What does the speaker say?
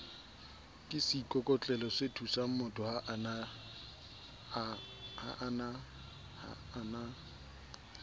ke seikokotlelosethusangmotho ha a na